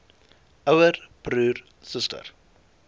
ouer broer suster